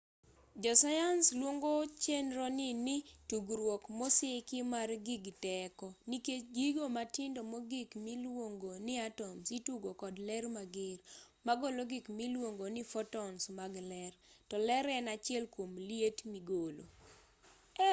josayans luongo chenroni ni tugruok mosiki mar gig teko nikech gigo matindo mogik miluong ni atoms itugo kod ler mager ma golo gik miluongo ni fotons mag ler to ler en achiel kuom liet migolo